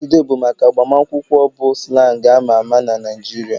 Saturday bụ maka agbamakwụkwọ bụ slang amaa ama na Nigeria